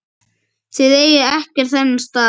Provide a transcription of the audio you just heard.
Þið eigið ekkert þennan stað.